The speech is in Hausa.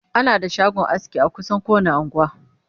ana da shagon aski a kusan kowani unguwa